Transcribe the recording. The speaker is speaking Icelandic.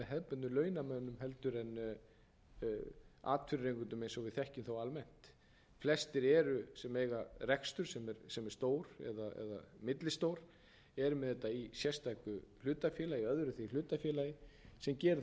launamönnum heldur en atvinnurekendum eins og við þekkjum þá almennt flestir eiga rekstur sem er stór eða millistór er með þetta í sérstöku hlutafélagi öðru því hlutafélagi sem gerir